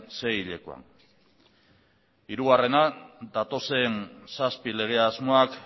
seihilekoan hirugarrena datozen zazpi lege asmoak